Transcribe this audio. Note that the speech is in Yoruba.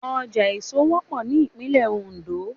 Ọjà èso wọ́pọ̀ ní ìpínlẹ̀ Oǹdó